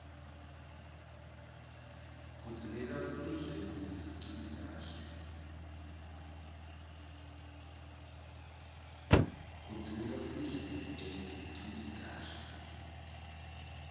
kudzingeka sidle kute sicine kahle